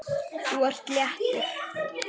Þú ert léttur.